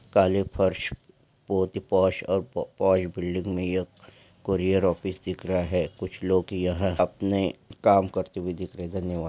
काले फर्श बहुत ही पॉश और प-पोय- बिल्डिंग में यह कोरियर ऑफिस दिख रहा है कुछ लोग यहां अपने काम करते हुए दिख रहे हैं। धन्यवा--